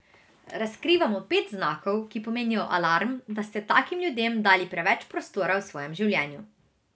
Razkrivamo pet znakov, ki pomenijo alarm, da ste takim ljudem dali preveč prostora v svojem življenju.